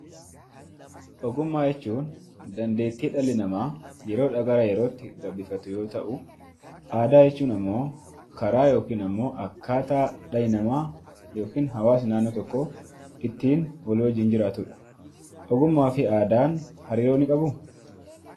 Ogummaa jechuun dandeettii dhalli namaa yeroodhaa gara yerootti gabbifatu yoo ta'u, aadaa jechuun ammoo karaa yookiin ammoo akkaataa dhalli namaa yookiin hawaasa naannoo tokkoo ittiin wal wajjin jiraatudha. Ogummaa fi aadaan hariiroo ni qabuu?